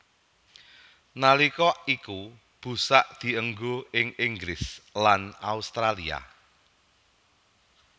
Nalika iku busak dienggo ing Inggris lan Australia